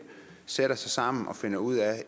sætter sig sammen og finder ud af